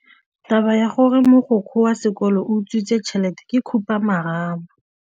Taba ya gore mogokgo wa sekolo o utswitse tšhelete ke khupamarama.